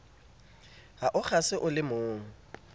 ha o kgase o lemong